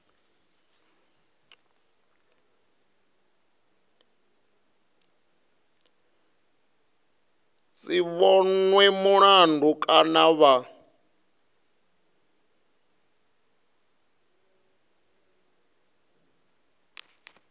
si vhonwe mulandu kana vha